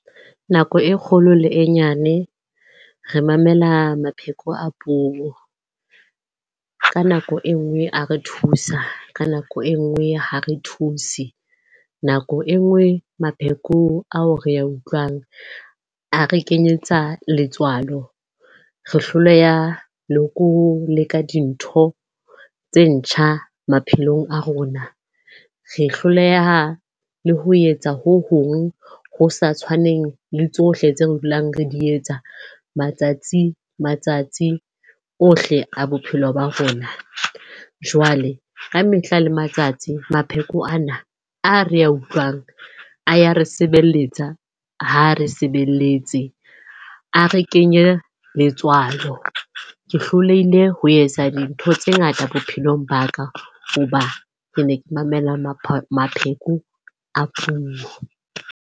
Nako e kgolo le e nyane re mamela mapheko a puo. Ka nako e nngwe a re thusa, ka nako e nngwe ha re thuse. Nako e nngwe mapheko ao re a utlwang a re kenyetsa letswalo. Re hloleha le ko leka dintho tse ntjha maphelong a rona. Re hloleha le ho etsa ho hong ho sa tshwaneng le tsohle tse re dulang re di etsa matsatsi ohle a bophelo ba rona. Jwale ka mehla le matsatsi, mapheko a re a utlwang a ya re sebeletsa ha re sebeletse. A re kenyea letswalo. Ke hlolehile ho etsa dintho tse ngata bophelong ba ka hoba ke ne ke mamela mapheko a puo.